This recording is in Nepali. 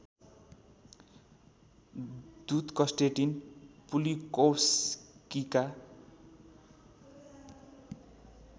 दुत कस्टेटिन पुलिकोवस्कीका